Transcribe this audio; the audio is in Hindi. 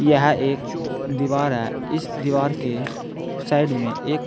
यह एक दीवार है इस दीवार के साइड में एक